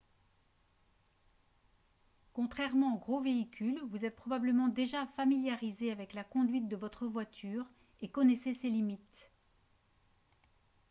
contrairement aux gros véhicules vous êtes probablement déjà familiarisé avec la conduite de votre voiture et connaissez ses limites